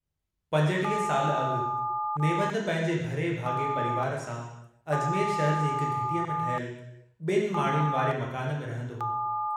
पंजटीह साल अगु नेवंद पंहिंजे भरिये भागए परिवार सां अजमेर शहर जी हिक घिटीअ में ठहियल बनि माड़ियुनि वारे मकान में रहन्दो हो।